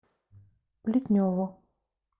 плетневу